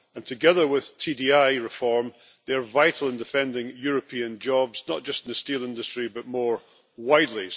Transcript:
Together with TDI reform, they are vital in defending European jobs, not just in the steel industry, but more widely.